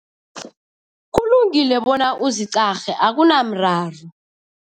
Kulungile bona uziqarhe, akunamraro.